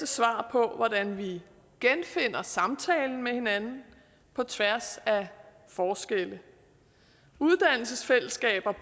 svar på hvordan vi genfinder samtalen med hinanden på tværs af forskelle uddannelsesfællesskaber